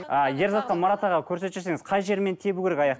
ы ерзатқа марат аға көрсетіп жіберсеңіз қай жерімен тебу керек аяқ